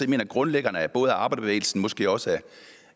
det grundlæggerne af både arbejderbevægelsen måske også